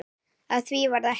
Af því varð ekki.